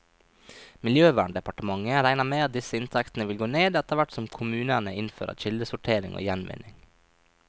Miljøverndepartementet regner med at disse inntektene vil gå ned, etterhvert som kommunene innfører kildesortering og gjenvinning.